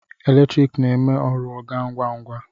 Eletriki na-eme ọrụ a gaa ngwa ngwa.